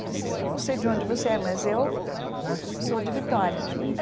Ela disse, eu não sei de onde você é, mas eu sou de Vitória